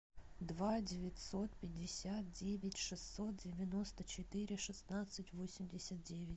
два девятьсот пятьдесят девять шестьсот девяносто четыре шестнадцать восемьдесят девять